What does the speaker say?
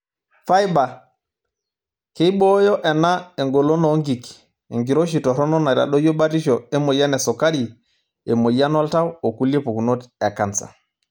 Faiba:keibooyo ena engolon oo nkik, enkiroshi toronok neitadoyio batisho emoyian esukari, emoyian oltau o kulie pukunot e kansa.